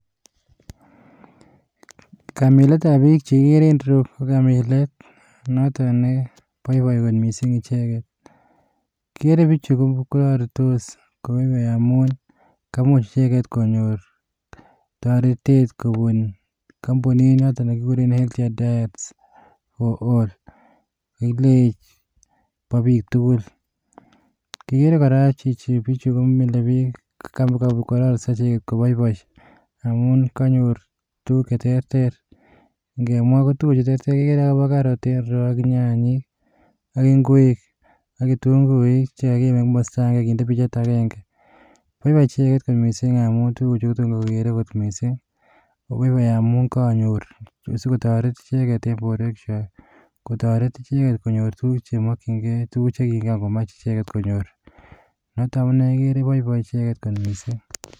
Kamiletab biik chekikere en ireyu, ko kamilet noton neboiboi kot missing icheket, kigere bichu kororitos koboiboi amun, kamuch icheket konyoor toretetkobuun kompunit notok nekikureb food and fit for all .Bo bike tugul, kigere kora kele bichu komile book, kororisoo icheget koboiboi i,Amin konyoor tuguk che teeter. Ingemwaa kotugukuchu koterter ko Karot ak nyanyik. Ak ingwek, ak kitunguuik chekokinde komosto avenge. Boiboi icheket kot missing amun tuguchu, kotomo kogere kot missing, koboiboi amun konyoor sikoteret icheget en borwekchwak. Kotoret, icheget chemokyingei tuguk chekiran komach icheget konyor. Noton amune igere boiboi icheket kot missing.